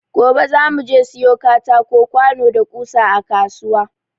Gobe za mu je siyo katako, kwano da ƙusa a kasuwa.